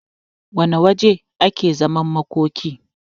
wane waje ake zaman makoki